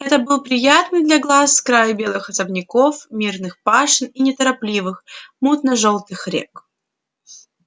это был приятный для глаз край белых особняков мирных пашен и неторопливых мутно-жёлтых рек